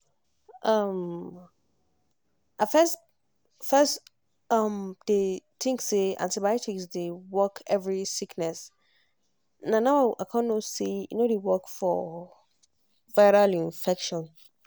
erm i bin first first um dey think say antibiotics dey work every sickness na now i con know say e no dey work for viral infection.